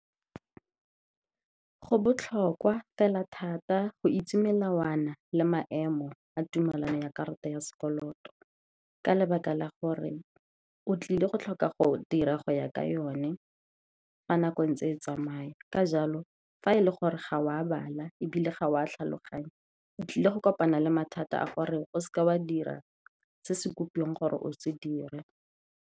Go botlhokwa fela thata go itse melawana le maemo a tumelano ya karata ya sekoloto, ka lebaka la gore o tlile go tlhoka go dira go ya ka yone fa nako e ntse e tsamaya. Ka jalo, fa e le gore ga o a bala, ebile ga wa tlhaloganya, o tlile go kopana le mathata a gore o se ke wa dira se se kopiwang gore o se dire.